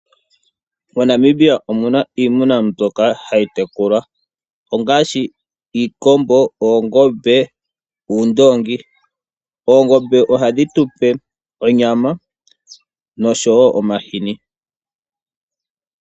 MoNamibia omuna iimuna mbyoka hayi tekulwa ngaashi iikombo, oongombe, noondoongi. Oongombe ohadhi tupe onyama, noshowo omahini.